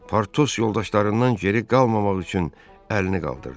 Partos yoldaşlarından geri qalmamaq üçün əlini qaldırdı.